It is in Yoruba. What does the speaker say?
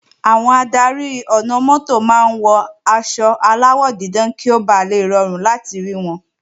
Àwọn adarí ọ̀nà-mọ́tò máa ń wọ aṣọ aláwọ̀ dídán kí ó bà le rọrùn láti rí wọn